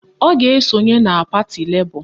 Ọ ga-esonye na pati Lebọ